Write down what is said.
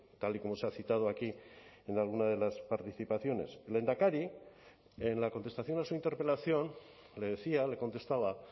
tal y como se ha citado aquí en alguna de las participaciones el lehendakari en la contestación a su interpelación le decía le contestaba